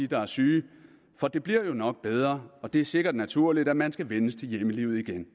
der er syge for det bliver jo nok bedre og det er sikkert naturligt at man skal vænnes til hjemmelivet igen